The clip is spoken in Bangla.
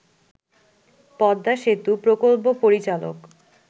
পদ্মা সেতু প্রকল্প পরিচালক